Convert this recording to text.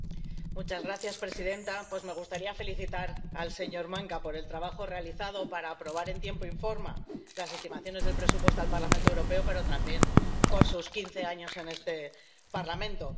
Señora presidenta, me gustaría felicitar al señor Maňka por el trabajo realizado para aprobar en tiempo y forma las estimaciones del presupuesto al Parlamento Europeo, pero también por sus quince años en este Parlamento.